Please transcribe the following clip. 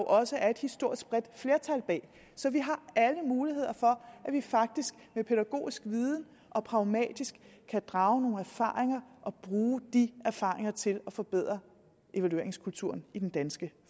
også er et historisk bredt flertal bag så vi har alle muligheder for at vi faktisk med pædagogisk viden og med pragmatisme kan drage nogle erfaringer og bruge de erfaringer til at forbedre evalueringskulturen i den danske